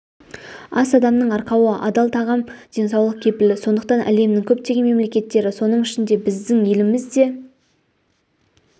ас адамның арқауы адал тағам денсаулық кепілі сондықтан әлемнің көптеген мемлекеттері соның ішінде біздің еліміз де